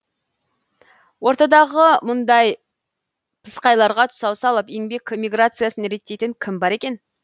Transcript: ортадағы мұндай пысықайларға тұсау салып еңбек миграциясын реттейтін кім бар екен